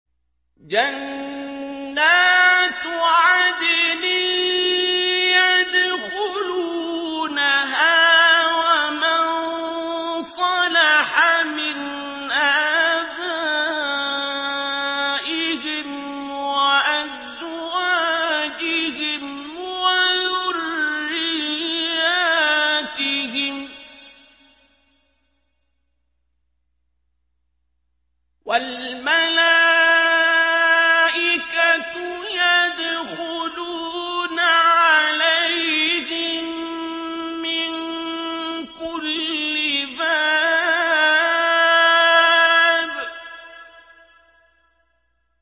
جَنَّاتُ عَدْنٍ يَدْخُلُونَهَا وَمَن صَلَحَ مِنْ آبَائِهِمْ وَأَزْوَاجِهِمْ وَذُرِّيَّاتِهِمْ ۖ وَالْمَلَائِكَةُ يَدْخُلُونَ عَلَيْهِم مِّن كُلِّ بَابٍ